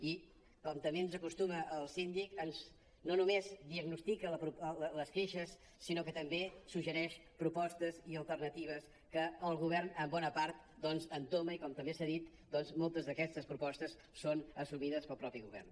i com també ens acostuma el síndic no només diagnostica les queixes sinó també suggereix propostes i alternatives que el govern en bona part entoma i com també s’ha dit moltes d’aquestes propostes són assumides pel mateix govern